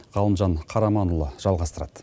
ғалымжан қараманұлы жалғастырады